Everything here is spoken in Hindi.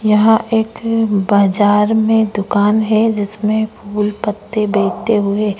यहा एक बाजार में दुकान है जिसमें फूल पत्ते बेचते हुए --